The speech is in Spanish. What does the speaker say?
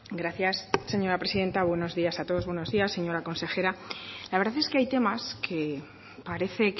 gracias señora presidenta buenos días a todos buenos días señora consejera la verdad es que hay temas que parece